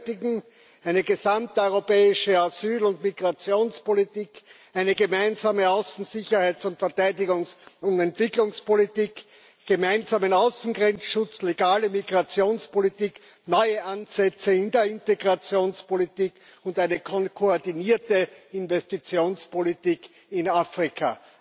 Wir benötigen eine gesamteuropäische Asyl und Migrationspolitik, eine gemeinsame Außen Sicherheits Verteidigungs und Entwicklungspolitik, gemeinsamen Außengrenzschutz, legale Migrationspolitik, neue Ansätze in der Integrationspolitik und eine koordinierte Investitionspolitik in Afrika.